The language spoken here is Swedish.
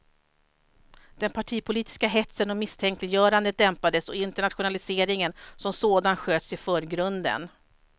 Den partipolitiska hetsen och misstänkliggörandet dämpades och internationaliseringen som sådan sköts i förgrunden.